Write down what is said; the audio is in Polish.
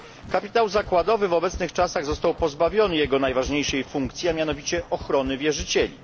Kapitał zakładowy w obecnych czasach został pozbawiony jego najważniejszej funkcji, a mianowicie ochrony wierzycieli.